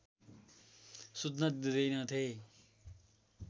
सुत्न दिँदैनथे